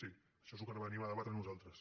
sí això és el que venim a debatre nosaltres